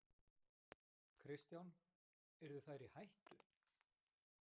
Kristján: Yrðu þær í hættu?